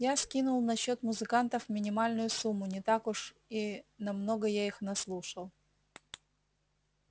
я скинул на счёт музыкантов минимальную сумму не так уж и на много я их наслушал